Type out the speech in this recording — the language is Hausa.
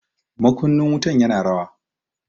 Makunnin wutan ya na rawa.